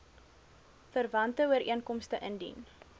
verwante ooreenkomste indien